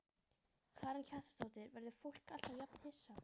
Karen Kjartansdóttir: Verður fólk alltaf jafn hissa?